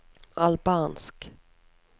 albansk